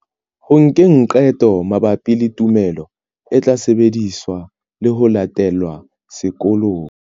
Ho nkeng qeto mabapi le tumelo e tla sebediswa le ho latelwa sekolong.